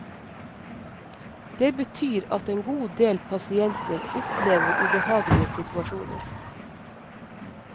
Det betyr at en god del pasienter opplever ubehagelige situasjoner.